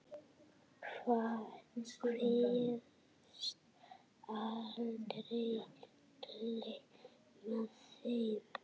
Kveðst aldrei gleyma þeim.